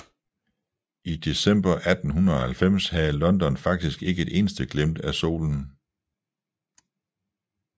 I december 1890 havde London faktisk ikke et eneste glimt af solen